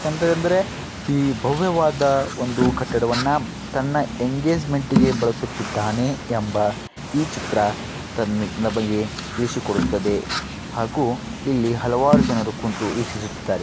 ಎಂದ್ರೆ ಎಂದ್ರೆ ಈ ಭೋವ್ಯವಾದ ಒಂದು ಕಟ್ಟಡವನ್ನ ತನ್ನ ಎಂಗೇಜ್ಮೆಂಟ್ ಇಗೆ ಬಳಸುತ್ತಿದ್ದಾನೆ ಎಂಬ ಈ ಚಿತ್ರ ತನ್ಮೇ ನಮಗೆ ತಿಳಿಸಿಕೊಡುತ್ತದೆ. ಹಾಗು ಇಲ್ಲಿ ಹಲವಾರು ಜನರು ಕುಂತು ವೀಕ್ಷಿಸುತ್ತಾರೆ.